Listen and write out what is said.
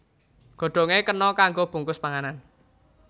Godhongé kena kanggo bungkus panganan